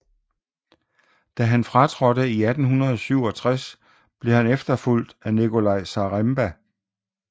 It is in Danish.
Da han fratrådte i 1867 blev han efterfulgt af Nikolai Zaremba